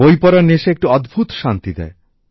বই পড়ার নেশা একটি অদ্ভুত শান্তি দেয়